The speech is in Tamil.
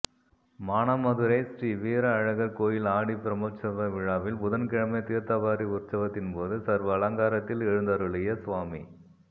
மானாமதுரை ஸ்ரீ வீர அழகா் கோயில் ஆடிப் பிரமோற்சவ விழாவில் புதன்கிழமை தீா்த்தவாரி உற்சவத்தின்போது சா்வ அலங்காரத்தில் எழுந்தருளிய சுவாமி